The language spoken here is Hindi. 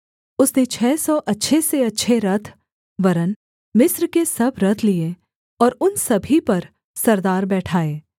उसने छः सौ अच्छे से अच्छे रथ वरन् मिस्र के सब रथ लिए और उन सभी पर सरदार बैठाए